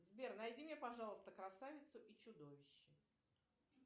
сбер найди мне пожалуйста красавицу и чудовище